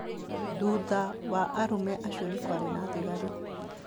Thutha wa arũme acio nĩ kwarĩ na thigari.